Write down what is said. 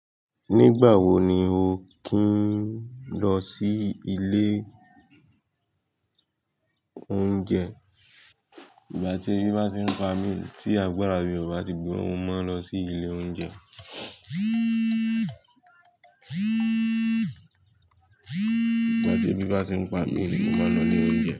Nígbà wo ni o kín lọ sí ilé oúnjẹ? Nígbà tí ebi bá ti ń pa mí, tí àgbàrá bí ọba ti gbemo, mo máa ń lọ sí ilé oúnjẹ. Nígbà tí ebi bá ti ń pa mí ni mo máa lọ ile ounje.